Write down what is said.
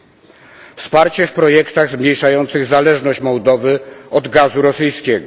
To oznacza wsparcie w projektach zmniejszających zależność Mołdowy od gazu rosyjskiego.